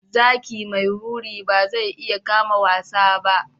Zaki mai ruri ba zai iya kama wasa ba.